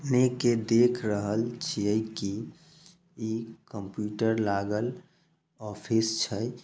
देख रहल छिये की इ कंप्युटर लागल ऑफिस छै।